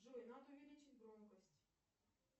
джой надо увеличить громкость